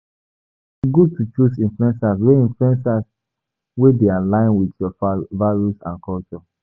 E good to choose influencers wey dey align with your values and goals.